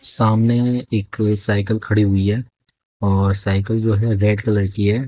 सामने में एक साइकल खड़ी हुई है और साइकल जो है रेड कलर की है।